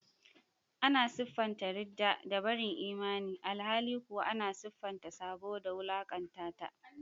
Ana siffanta ridda da barin imani, alhali kuwa ana siffanta sabo da wulakanta ta.